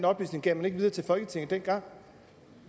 oplysning gav man ikke videre til folketinget dengang